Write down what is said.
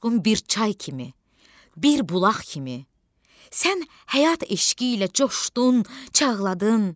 Coşqun bir çay kimi, bir bulaq kimi, sən həyat eşqi ilə coşdun, çağladın.